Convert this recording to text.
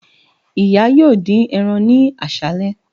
Iya yoo din eran ni aṣalẹ